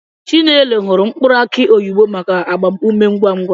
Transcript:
Chinelo hụrụ mkpụrụ aki oyibo maka agbam ume ngwa ngwa.